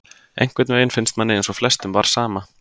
Einhvern veginn finnst manni eins og flestum var sama,